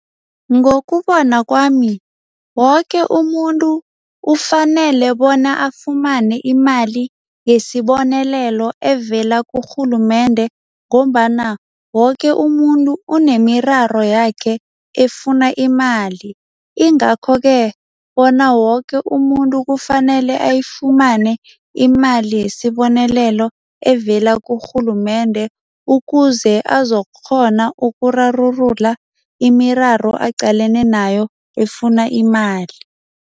Ngokubona kwami, woke umuntu ufanele bona afumane imali yesibonelelo evela kurhulumende ngombana woke umuntu unemiraro yakhe efuna imali, ingakho-ke bona woke umuntu kufanele ayifumane imali yesibonelelo evela kurhulumende ukuze azokukghona ukurarulula imiraro aqalene nayo, efuna imali.